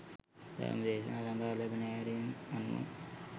ධර්ම දේශනා සඳහා ලැබෙන ඇරැයුම් අනුව